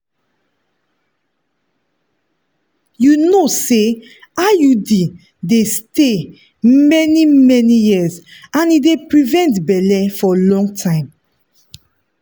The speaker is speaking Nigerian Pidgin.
you know say iud dey stay many-many years and e dey prevent belle for long time.